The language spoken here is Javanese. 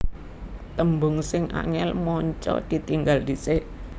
Tembung sing angel/manca ditinggal dhisik